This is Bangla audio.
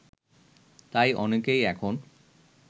তাই অনেকেই এখন